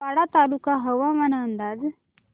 वाडा तालुका हवामान अंदाज